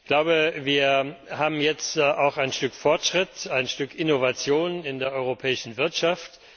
Ich glaube, wir haben jetzt auch ein Stück Fortschritt, ein Stück Innovation in der europäischen Wirtschaft.